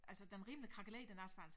Altså den er rimelig krakeleret den asfalt